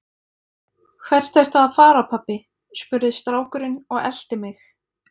Hvert ertu að fara pabbi? spurði strákurinn og elti mig.